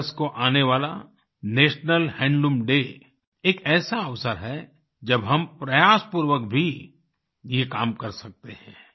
7 अगस्त को आने वाला नेशनल हैंडलूम डे एक ऐसा अवसर है जब हम प्रयास पूर्वक भी ये काम कर सकते हैं